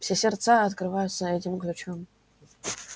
все сердца открываются этим ключом